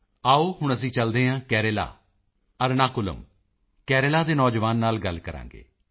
ਆਓ ਹੁਣ ਅਸੀਂ ਚਲਦੇ ਹਾਂ ਕੇਰਲਾ ਅਰਨਾਕੁਲਮ Ernakulam ਕੇਰਲਾ ਦੇ ਨੌਜਵਾਨ ਨਾਲ ਗੱਲ ਕਰਾਂਗੇ